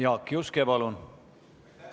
Jaak Juske, palun!